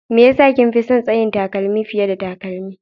Me ya sa kin fi son tsayin takalmi fiye da takalmi?